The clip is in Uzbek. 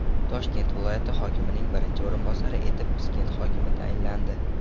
Toshkent viloyati hokimining birinchi o‘rinbosari etib Piskent hokimi tayinlandi.